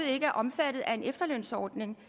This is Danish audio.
ikke er omfattet af en efterlønsordning